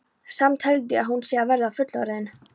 Samt held ég að hún sé að verða fullorðin.